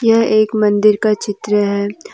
यह एक मंदिर का चित्र है।